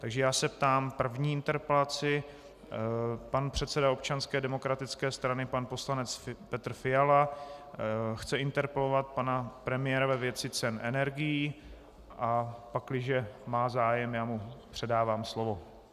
Takže já se ptám - první interpelace pan předseda Občanské demokratické strany, pan poslanec Petr Fiala, chce interpelovat pana premiéra ve věci cen energií, a pakliže má zájem, já mu předávám slovo.